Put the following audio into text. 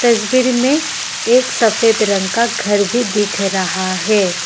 तस्वीर में एक सफ़ेद रंग का घर भी दिख रहा है।